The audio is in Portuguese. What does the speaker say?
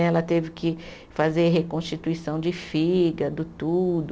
Ela teve que fazer reconstituição de fígado, tudo.